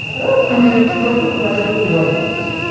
ধুর কুড়ি একুশ বাইশ বছর বয়স হবে